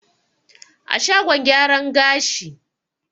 A shagon gyaran gashi.